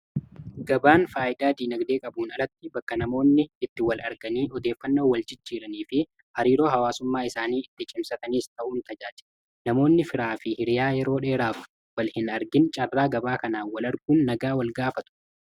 gabaan faayyidaa diinagdee qabuun alatti bakka namoonni itti wal arganii odeeffannoo walchichiiranii fi hariiroo hawaasummaa isaanii itti chimsataniis ta'uun tajaaje namoonni firaa fi hiriyaa yeroo dheeraaf wal hin argin carraa gabaa kanaan wal arguun nagaa wal gaafatu